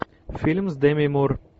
фильм с деми мур